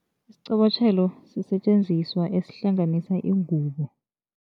Isiqobotjhelo sisetjenziswa esihlanganisa ingubo.